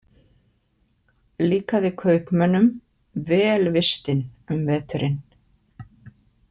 Líkaði kaupmönnum vel vistin um veturinn.